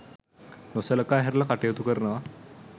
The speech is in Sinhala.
නොසලකා හැරලා කටයුතු කරනවා.